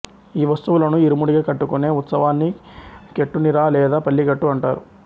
ఈ వస్తువులను ఇరుముడిగా కట్టుకునే ఉత్సవాన్నికెట్టునిరా లేదా పల్లికెట్టు అంటారు